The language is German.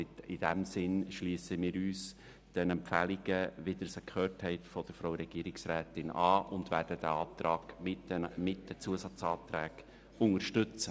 In diesem Sinn schliessen wir uns den Empfehlungen, die Sie von Regierungsrätin Egger gehört haben, an und werden den Antrag mit den Zusatzanträgen unterstützen.